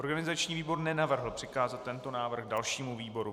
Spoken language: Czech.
Organizační výbor nenavrhl přikázat tento návrh dalšímu výboru.